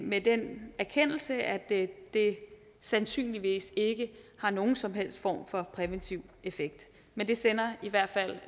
med den erkendelse at det sandsynligvis ikke har nogen som helst form for præventiv effekt men det sender i hvert fald